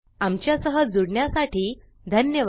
आमच्या सह जुडण्यासाठी धन्यवाद